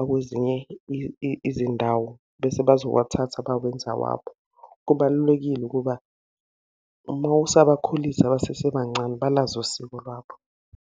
akwezinye izindawo, bese bazowathatha bawenze awabo. Kubalulekile ukuba uma usabakhulisa basesebancane, balazi usiko lwabo.